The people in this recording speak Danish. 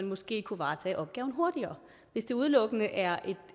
måske kunne varetages hurtigere hvis det udelukkende er